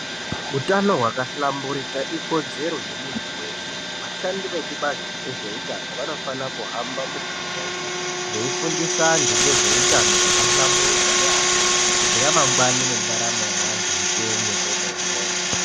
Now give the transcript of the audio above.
Utano hwakahlamburuka ikodzero yemuntu weshe vashandi vekubazi rezveutano vanofanire kuhamba miganga yeshe veifundisa vantu ngezveutano hwakahlamburuka yambo kuti ramangwani nendaramo yeantu ipenye kwemene.